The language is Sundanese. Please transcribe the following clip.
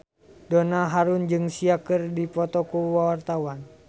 Donna Harun jeung Sia keur dipoto ku wartawan